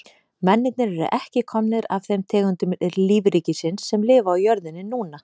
Mennirnir eru ekki komnir af þeim tegundum lífríkisins sem lifa á jörðinni núna.